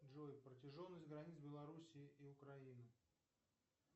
джой протяженность границ белоруссии и украины